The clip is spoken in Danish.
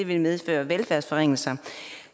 vil medføre velfærdsforringelser